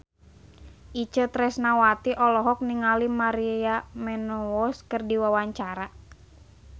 Itje Tresnawati olohok ningali Maria Menounos keur diwawancara